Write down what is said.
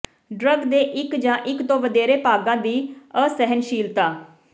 drug ਦੇ ਇੱਕ ਜਾਂ ਇੱਕ ਤੋਂ ਵਧੇਰੇ ਭਾਗਾਂ ਦੀ ਅਸਹਿਣਸ਼ੀਲਤਾ